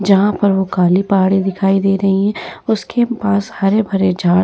जहाँ पर वो काली पहाड़ी दिखाई दे रही है उसके पास हरे-भरे झाड़ --